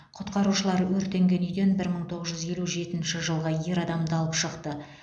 құтқарушылар өртенген үйден бір мың тоғыз жүз елу жетінші жылғы ер адамды алып шықты